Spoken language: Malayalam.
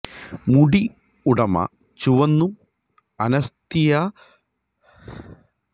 മുടി ഉടമ ചുവന്നും അനസ്താസിയ ശ്പഗിന് പകരം ബാർബി അധികം ആനിമേറ്റഡ് ജാപ്പനീസ് സിനിമയിലെ കഥാപാത്രം കൂടുതൽ പോലെ